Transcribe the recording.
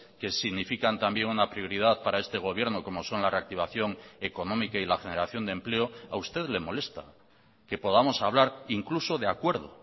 que significan también una prioridad para este gobierno como son la reactivación económica y la generación de empleo a usted le molesta que podamos hablar incluso de acuerdo